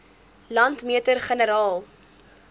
landmeter generaal